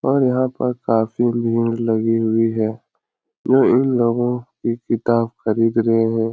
और यहाँ पर काफी भीड़ लगी हुई है। ये उन लोगो की किताब खरीद रहे हैं।